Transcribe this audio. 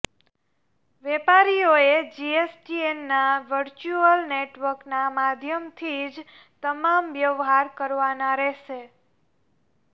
વેપારીઓએ જીએસટીએનના વર્ચ્યુઅલ નેટવર્કના માધ્યમથી જ તમામ વ્યવહાર કરવાના રહેશે